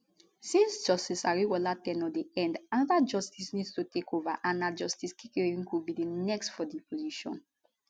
since justice ariwoola ten ure dey end anoda justice need to takeova and na justice kekereekun be di next for di position